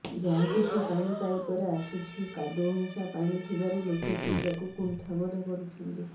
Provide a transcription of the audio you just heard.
ଯାହାକିଛି ପାଣି ପାଇପରେ ଆସୁଛି କାଦୁଅମିଶା ପାଣି ଥିବାରୁ ଲୋକେ ପିଇବାକୁ କୁଣ୍ଠାବୋଧ କରୁଛନ୍ତି